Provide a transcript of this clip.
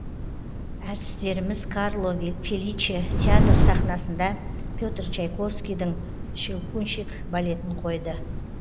әртістеріміз карло феличе театры сахнасында петр чайковскийдің щелкунчик балетін қойды